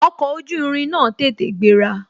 Ọkọ̀ ojú irin náà tètè gbéra